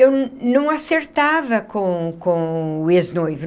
Eu não acertava com com o ex-noivo.